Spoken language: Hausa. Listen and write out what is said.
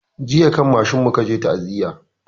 Jiya kan mashin mu ka je ta'aziya